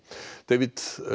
David